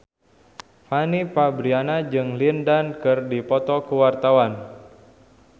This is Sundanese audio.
Fanny Fabriana jeung Lin Dan keur dipoto ku wartawan